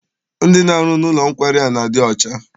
Ndị na-arụ n'ụlọ nkwari a na-adị ọcha.